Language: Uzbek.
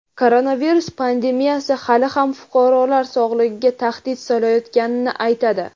koronavirus pandemiyasi hali ham fuqarolar sog‘lig‘iga tahdid solayotganini aytadi.